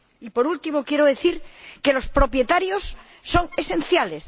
Y, por último, quiero decir que los propietarios son esenciales.